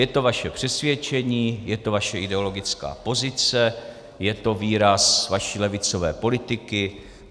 Je to vaše přesvědčení, je to vaše ideologická pozice, je to výraz vaší levicové politiky.